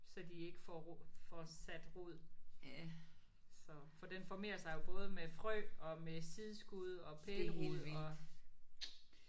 Så de ikke får så de ikke får sat rod. Så for den formerer sig jo både med frø og med sideskud og pælerod og